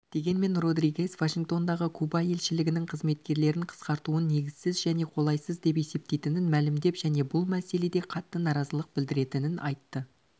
дегенмен родригес вашингтондағы куба елшілігінің қызметкерлерін қысқартуын негізсіз және қолайсыз депесептейтінін мәлімдеп және бұл мәселеде қатты наразылық білдіретінін айтты